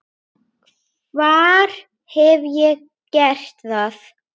Hvar hef ég gert það?